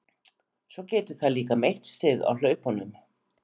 Svo getur það líka meitt sig á hlaupunum.